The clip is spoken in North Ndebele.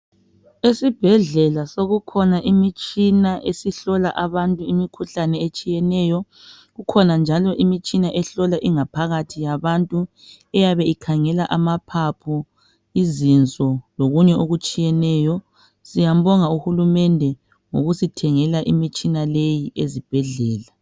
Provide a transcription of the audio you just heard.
Esibhedlela sokukhona imitshina esihlola abantu, imikhuhlane etshiyeneyo. Kukhona njalo imitshina ehlola ingaphakathi yabantu, eyaabe ikhangela anaphaphu, izinso, lokunye okutshiyeneyo. Siyambonga uhulumende, ngokusithengela imitshina leyi ezibhedlela.